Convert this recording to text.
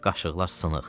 Qaşıqlar sınıq.